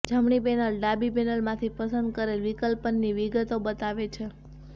જમણી પેનલ ડાબી પેનલમાંથી પસંદ કરેલ વિકલ્પની વિગતો બતાવે છે